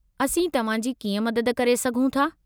असीं तव्हां जी कीअं मदद करे सघूं था?